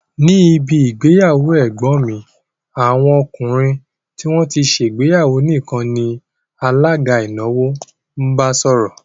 Ní ibi ìgbéyàwó ẹ̀gbọ́n mi, àwọn ọkùnrin tí wón ti ṣe ìgbéyàwó nìkan ni alága ìnáwó bá sọ̀rọ̀